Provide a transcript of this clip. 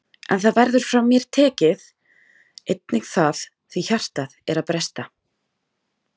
En það verður frá mér tekið, einnig það, því hjartað er að bresta.